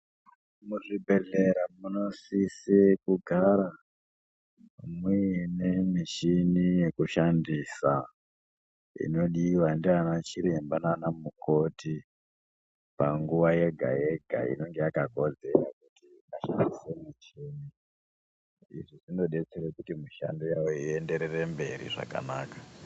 Muzvibhedhlera munosise kugara muine mishini yekushandisa inodiwa nana chiremba nanamukoti panguva yega yega inenge yakakodzera izvi zvinobetsera kuti mishando yavo ienderere mberi zvakanaka .